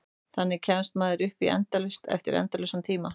Þannig kemst maður upp í endalaust eftir endalausan tíma.